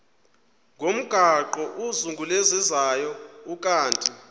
ngomgaqo ozungulezayo ukanti